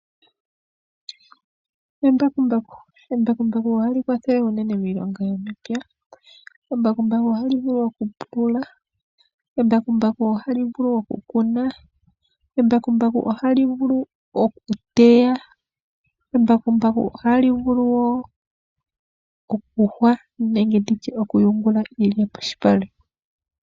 Embakumbaku. Embakumbaku ohali kwathele unene miilonga yomepya. Embakumbaku ohali vulu oku pulula. Embakumbaku ohali vulu oku kuna. Embakumbaku ohali vulu oku teya. Embakumbaku ohali vulu wo okuyungula iilya molupale.